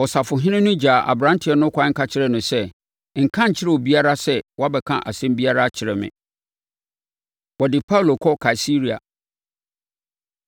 Ɔsafohene no gyaa aberanteɛ no kwan ka kyerɛɛ no sɛ, “Nka nkyerɛ obiara sɛ woabɛka asɛm biara akyerɛ me.” Wɔde Paulo Kɔ Kaesarea